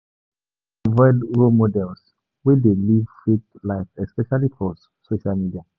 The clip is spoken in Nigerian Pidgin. Before person go um choose role model im need to make sure sey di person get better values